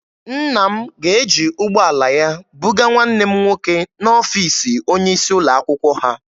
Nna m ga-eji ụgbọala ya bugaa nwanne m nwoke n'ọfiisi onye isi ụlọ akwụkwọ ha.